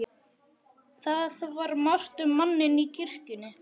Það var margt um manninn í kirkjunni.